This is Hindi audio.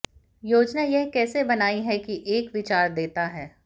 योजना यह कैसे बनाई है की एक विचार देता है